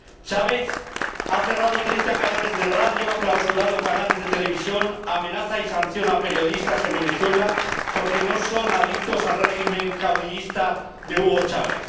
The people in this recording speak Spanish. Chávez ha cerrado treinta canales de radio, ha clausurado canales de televisión, amenaza y sanciona a periodistas en Venezuela, porque no son adictos al régimen caudillista de Hugo Chávez.